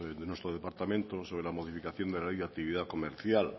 de nuestro departamento sobre la modificación de la ley de actividad comercial